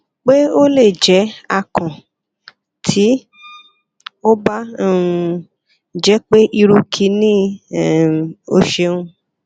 pe o le jẹ akàn ti o ba um jẹ pe iru kini um o ṣeun